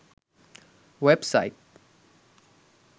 web site